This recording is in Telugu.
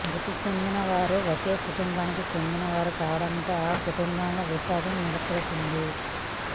మృతి చెందినవారు ఒకే కుటుంబానికి చెందినవారు కావడంతో ఆ కుటుంబంలో విషాదం నెలకొంది